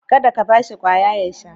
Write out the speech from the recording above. Kada ka ba shi kwaya ya sha